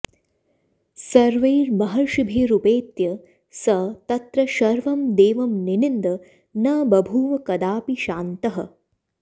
सर्वैर्महर्षिभिरुपेत्य स तत्र शर्वं देवं निनिन्द न बभूव कदापि शान्तः